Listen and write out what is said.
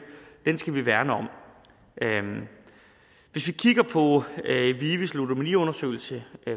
skal vi værne om hvis vi kigger på vives ludomaniundersøgelse